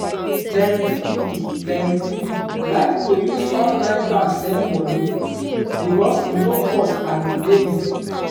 plenty people plenty people like to use online bank send money because e no cost and e dey easy